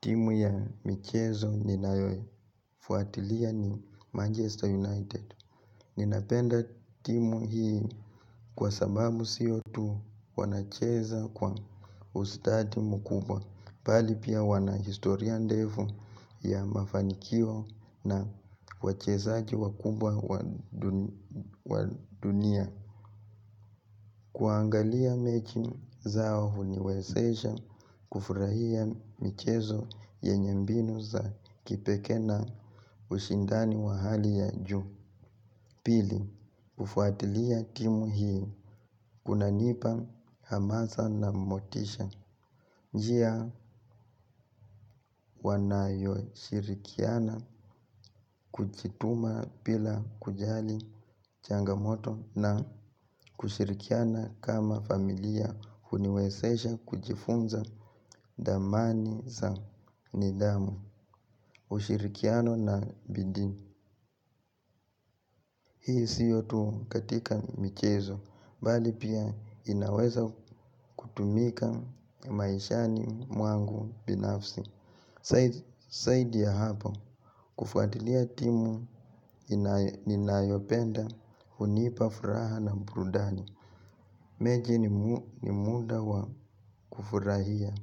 Timu ya michezo ni nayo. Fuatilia ni Manchester United. Ninapenda timu hii kwa sababu siyo tu wanacheza kwa ustadi mkubwa. Pali pia wanahistoria ndefu ya mafanikio na wachezaji wakubwa wa dunia. Kuangalia mechi zao huniwezesha kufurahia michezo yenye mbinu za kipekee na ushindani wa hali ya juu. Pili, ufuatilia timu hii kuna nipa hamasa na motisha. Njia wanayo shirikiana kuchituma pila kujali changamoto na kushirikiana kama familia huniwesesha kujifunza dhamani za nidhamu. Ushirikiano na bidi. Hii siyotu katika michezo bali pia inaweza kutumika maishani mwangu binafsi Saidi ya hapa kufuatilia timu ninayopenda hunipafuraha na brudani mechi ni muda wa kufurahia.